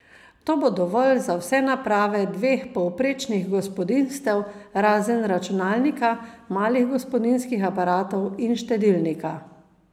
To bo dovolj za vse naprave dveh povprečnih gospodinjstev, razen računalnika, malih gospodinjskih aparatov in štedilnika.